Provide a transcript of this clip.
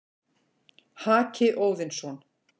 Haki Óðinsson,